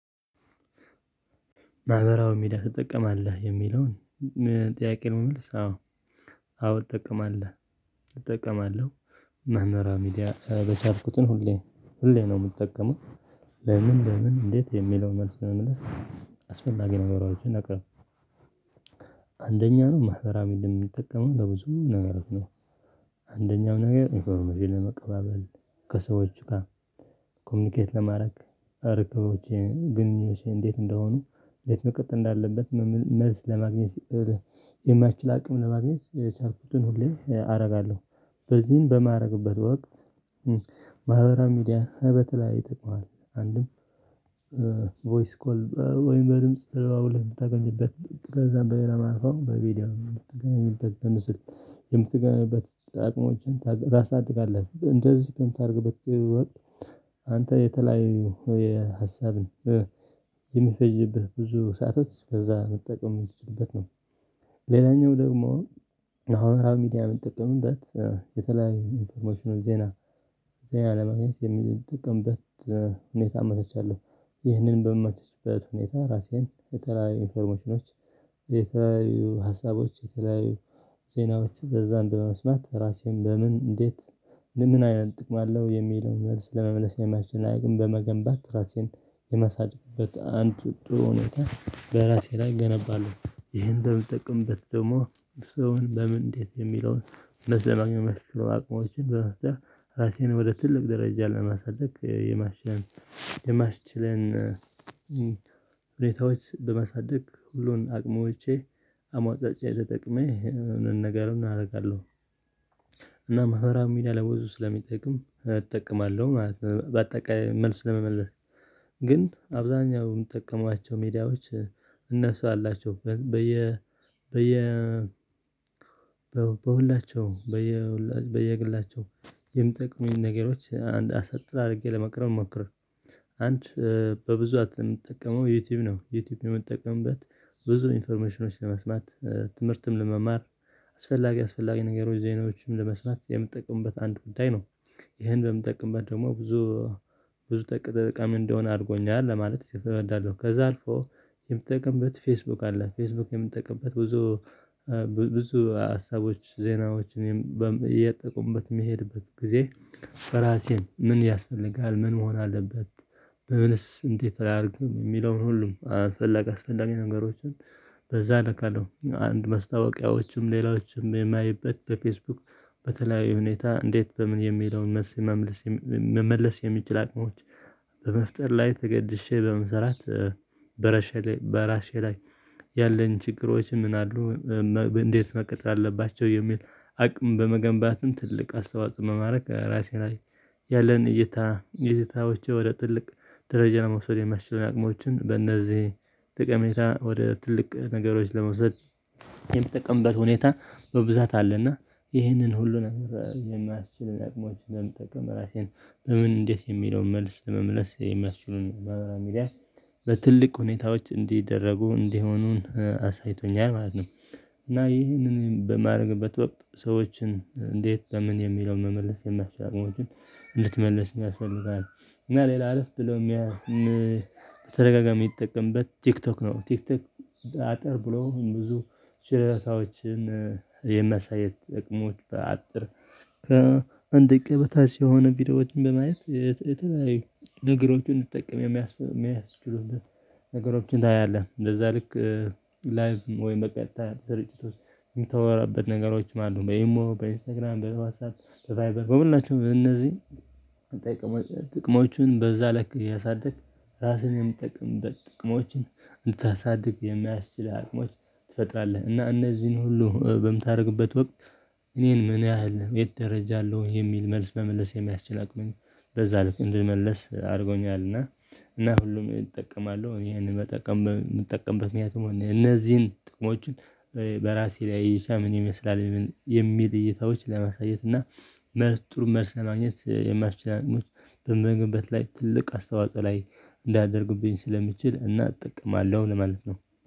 ማህበራዊ ሜዳ ትጠቀማለህ የሚለውን ጥያቄ ነው የምልስ አዎ አዎ እጠቀማለሁ እጠቀማለሁ መምህራን ሚዲያ በቻርኩትን ሁሌ ሁሌ ነው የምጠቀመው። ለምን ለምን እንዴት የሚለውን መልስ ለመመለስ አስፈላጊ ነገሮችን ነቅርብ። አንደኛ ነው ማህበራዊሚድን የሚጠቀመው ለብዙ ነገሮች ነው። አንደኛው ነገር ኢንፎርሜሽን ለመቀበል ከሰዎቹ ጋ ኮሙኒኬት ለማረግ ርከቦቼን ግንኞቼ እንዴት እንደሆኑ እንዴት መቅጠር እንዳለበት መልስ ለማግኘት የሚያስችል አቅም ለማግኘት የቻልኩቱን ሁሌ አረጋለሁ። በዚህን በማረግበት ወቅት ማህበራዊ ሚዲያ በተለይ ይጠቅማል አንድም ቮይስ ኮል ወይም በድምጽ ተደዋውለህ ምታገኝበት ከዛም በሌላ ማለት ነው በቪዲዮ ምትገናኝበት በምስል የምትገናኝበት አቅሞችን ታሳድጋለህ እንደዚህ በምታርግበት ግዜ ወቅት አንተ የተለያዩ የሀሳብን የሚፈጅብህ ብዙ ሰአቶች በዛ መጠቀም ሚችልበት ነው። ሌላኛው ደግሞ አሁን ራሚዲያ ምጠቀምበት የተለያዩ ኢንፎርሞሽኑን ዜና ዜና ለማግኘት የሚል ጥቅምበት ሁኔታ አመቻችቻለሁ። ይህንን በማመቸችበት ሁኔታ ራሴን የተለያዬ ኢንፎርሜሽኖች የተለያዬ ሀሳቦች የተለያዩ ዜናዎች በዛን በመስማት ራሴን በምን እንዴት ለምን አይነት ጥቅም አለው የሚለውን መልስ ለመመለስ የሚስችል አቅም በመገንባት ራሴን የማሳድግበት አንድ ጥሩ ሁኔታ በራሴ ላይ እገነባለሁ። ይሄን እንደምጠቀምበት ደግሞ ሰውን በምን እንዴት የሚለውን እውነት ለማግኘት መስሎ አቅሞችን በመፍጠር ራሴን ወደ ትልቅ ደረጃ ለማሳደግ የማሸነፍ የማሽችለን ሁኔታዎች በመሳደግ ሁሉን አቅሞቼ አሟጥጬ ተጠቅሜ ኘገሩን አረጋለሁ። እና ማህበራዊ ሚዲያ ለብዙ ስለሚጠቅም እጠቀማለሁ ማለት ነው። ባጠቃላይ መልስ ለመመለስ ግን አብዛኛው ምጠቀማቸው ሜዳዎች እነሱ አላቸው በየ በየ በሁላቸውም በየግላቸውም የሚጠቅሙኝ ነገሮች አንድ አሳጥ አርጌ ለማቅረብ ሞክር። አንድ በብዛት የምጠቀመው ዩቲዩብ ነው። ዩቲዩብ የምትጠቀምበት ብዙ ኢንፎርሜሽኖች ለመስማት ትምህርትም ለመማር አስፈላጊ አስፈላጊ ነገሮች ዜናዎችም ለመስማት የምትጠቀሙበት አንድ ጉዳይ ነው። ይሄን በምጠቅምበት ደግሞ ብዙ ብዙ ተጠቃሚ እንድሆን አርጎኛል ለማለት እፍረዳለሁ። ከዛ አልፎ የምጠቅምበት ፌስቡክ አለ ፌስቡክ የምጠቅምበት ብዙ ብዙ ሀሳቦች ዜናዎችን እኔም እየጠቆምበት የምሄድበት ጊዜ ራሴን ምን ያስፈልጋል ምን መሆን አለበት? በምንስ እንዴት አያርግም የሚለውን ሁሉ አስፈላጊ አስፈላጊ ነገሮችን በዛ እልካለሁ አንድ ማስታወቂያዎችም ሌላዎችም የማይበት በፌስቡክ በተለያዩ ሁኔታ እንዴት በምን የሚለውን መልስ መመለስ የሚችል አቅሞች በመፍጠር ላይ ተገድሼ በመስራት። በራሼ ላይ በራሼ ላይ ያለኝ ችግሮች ምን አሉ? እንዴት መቀጠል አለባቸው የሚል አቅም በመገንባትም ትልቅ አስተዋጽን መማረክ ራሴን ላይ ያለን እይታ እይታዎቼ ወደ ትልቅ ደረጃ ለመውሰድ የሚያስችል አቅሞችን በእነዚህ ጥቅሜታ ወደ ትልቅ ነገሮች ለመውሰድ የምጠቅምበት ሁኔታ በብዛት አለና ይህንን ሁሉንም የማስችል አቅሞችን ለመጠቀም ራሴን በምን እንዴት የሚለውን መልስ ለመመለስ የሚያስችሉን መምህራን ሚዲያ በትልቅ ሁኔታዎች እንዲደረጉ እንዲሆኑን አሳይቶኛል ማለት ነው። እና ይህንን በማድረግበት ወቅት ሰዎችን እንዴት በምን የሚለውን መመለስ የማስችል አቅሞችን እንድትመለስ ያስፈልጋል። እና ሌላ አለፍ ብሎ የሚያ በተደጋጋሚ የሚጠቀምበት ቲክቶክ ነው። ቲክቶክ አጠር ብሎ ብዙ ሽረታዎችን የመሳየት እቅሞች በአጭር ከአንድ ደቂቃ በታች የሆኑ ቪዲዮዎችን በማየት የተለያዬ ነገሮችን እንድትጠቀም የሚያስችሉበት ነገሮችን እናያለን። እንደዛ ልክ ላይክ ወይም በቀጥታ ሰርጭት ውስጥ የምተወራበት ነገሮችም አሉ በኢም በኢንስታግራም በዋትስአፐ በባይበር በሁላቸውም በእነዚህ ጥቅሞችን በዛ ለክ እያሳድግ ራስህን የምትጠቅምበት ጥቅሞችን እንድታሳድግ የሚያስችልህ አቅሞች ትፈጥራለህ እና እነዚህን ሁሉ በምታደርግበት ወቅት። እኔ ምን ያህል የት ደረጃ አለው የሚል መልስ በመለስ የሚያስችል አቅምን በዛ ልክ እንድመለስ አድርጎኛልና። እና ሁሉም እጠቀማለሁ እኔ ይሄንን መጠቀም ምጠቀምበት ምክንያቱም እነዚህን ጥቅሞችን በራሴ ላይ ይሻም ይመስላል የሚል እይታዎች ለማሳየት እና መልስ ጥሩ መልስ ለማግኘት የማስችል አንቀሞች በመገንበት ላይ ትልቅ አስተዋጽኦ ላይ እንዲደርግብኝ ስለሚችል እና ጥቅምአለሁ ለማለት ነው